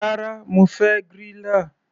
Rárá, mo fẹ́ griller.